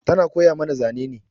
Tana koya mana zane ne.